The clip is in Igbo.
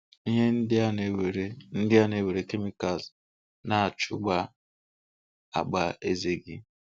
Ihe ndị a nwere ndị a nwere Chemicals na-achagha àgbà eze gị.